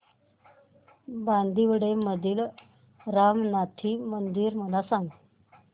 बांदिवडे मधील रामनाथी मंदिर मला सांग